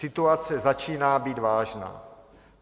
Situace začíná být vážná.